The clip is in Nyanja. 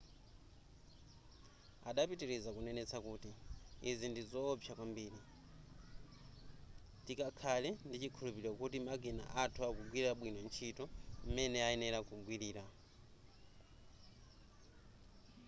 adapitiriza kunenetsa kuti izi ndizowopsa kwambiri tikakhale ndichikhulupiliro kuti makina athu akugwira bwino ntchito m'mene ayenera kugwilira